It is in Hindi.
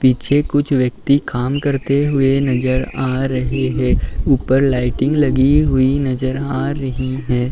पीछे कुछ व्यक्ति काम करते हुए नजर आ रहे हैं। ऊपर लाइटिंग लगी हुई नजर आ रही हैं।